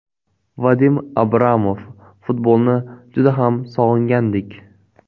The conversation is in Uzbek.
Vadim Abramov: Futbolni juda ham sog‘ingandik.